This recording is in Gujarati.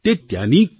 તે ત્યાંની કે